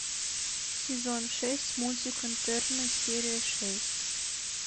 сезон шесть мультик интерны серия шесть